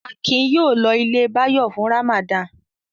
Akin yóò lọ ilé Báyọ̀ fún Ramadan.